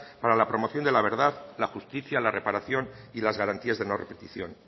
para la promoción de la verdad la justicia la reparación y las garantías de no repetición